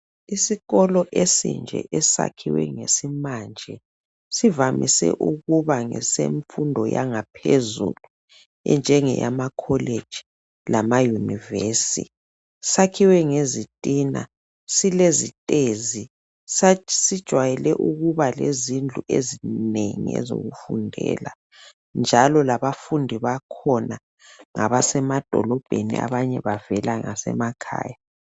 Isikolo esinje esakhiwe ngesimanje. Sivamise ukuba ngesemfundo yangaphezulu, enjengeyamacollege, lama universi. Sakhiwe ngezitina. Silezitezi. Sijwayele ukuba lezindlu ezinengi ezokufundela, njalo labafundi bakhona, ngabasemadolobheni. Abanye bavela ngasemakhaya.